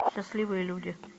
счастливые люди